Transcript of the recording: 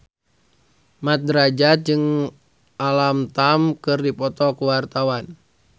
Mat Drajat jeung Alam Tam keur dipoto ku wartawan